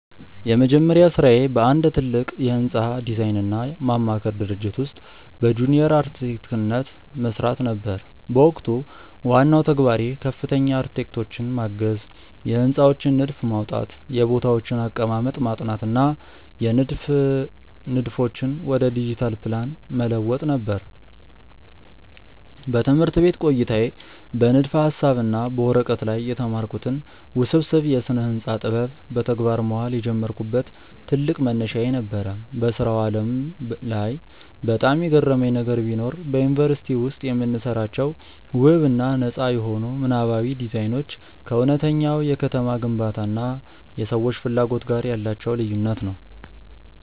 የመጀመሪያ ሥራዬ በአንድ ትልቅ የሕንፃ ዲዛይንና ማማከር ድርጅት ውስጥ በጁኒየር አርክቴክትነት መሥራት ነበር። በወቅቱ ዋናው ተግባሬ ከፍተኛ አርክቴክቶችን ማገዝ፣ የሕንፃዎችን ንድፍ ማውጣት፣ የቦታዎችን አቀማመጥ ማጥናት እና የንድፍ ንድፎችን ወደ ዲጂታል ፕላን መለወጥ ነበር። በትምህርት ቤት ቆይታዬ በንድፈ-ሐሳብ እና በወረቀት ላይ የተማርኩትን ውስብስብ የስነ-ህንፃ ጥበብ በተግባር ማዋል የጀመርኩበት ትልቅ መነሻዬ ነበር። በሥራው ዓለም ላይ በጣም የገረመኝ ነገር ቢኖር፣ በዩኒቨርሲቲ ውስጥ የምንሰራቸው ውብ እና ነጻ የሆኑ ምናባዊ ዲዛይኖች ከእውነተኛው የከተማ ግንባታ እና የሰዎች ፍላጎት ጋር ያላቸው ልዩነት ነው።